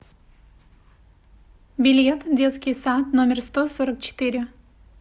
билет детский сад номер сто сорок четыре